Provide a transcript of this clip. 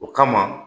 O kama